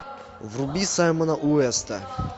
вруби саймона уэста